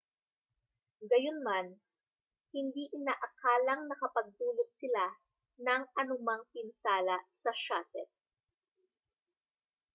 gayunman hindi inaakalang nakapagdulot sila ng anumang pinsala sa shuttle